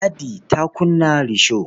Ladi ta kunna risho.